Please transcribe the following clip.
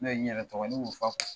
Ne ye yɛrɛ tɔgɔ y'u fa